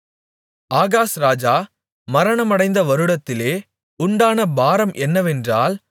Ahaz ராஜா மரணமடைந்த வருடத்திலே உண்டான பாரம் என்னவென்றால்